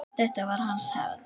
Þetta var hans hefð.